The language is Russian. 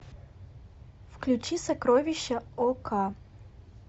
включи сокровища ока